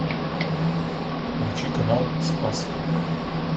включи канал спас